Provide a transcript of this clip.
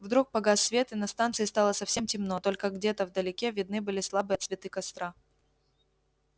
вдруг погас свет и на станции стало совсем темно только где-то вдалеке видны были слабые отсветы костра